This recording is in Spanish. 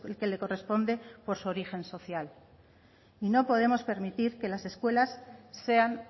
que le corresponde por su origen social y no podemos permitir que las escuelas sean